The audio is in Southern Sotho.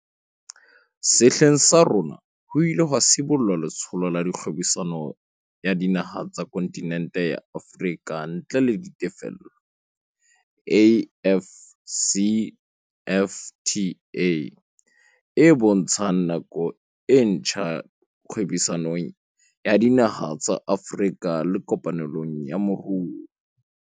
Sehleng sa rona ho ile ha sibollwa Letsholo la Kgwebisano ya Dinaha tsa Kontinente ya Afrika ntle le Ditefello, AFCFTA, e bontshang nako e ntjha kgwebisanong ya dinaha tsa Afrika le kopanelong ya moruo.